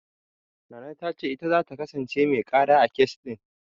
Nana ta ce ita zata kasance mai ƙara, a kes ɗin.